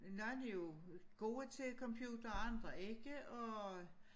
Nogle er jo gode til computer og andre ikke og